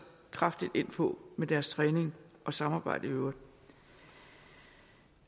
kraftigt ind på med deres træning og samarbejde i øvrigt